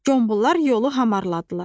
Qombollar yolu hamarladılar.